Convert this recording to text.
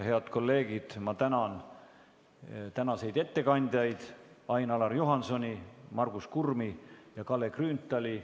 Head kolleegid, ma tänan tänaseid ettekandjaid Ain-Alar Juhansoni, Margus Kurmi ja Kalle Grünthali!